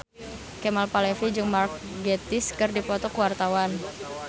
Kemal Palevi jeung Mark Gatiss keur dipoto ku wartawan